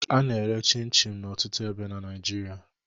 A na-ere chịn chịn n'ọtụtụ ebe na Naịjirịa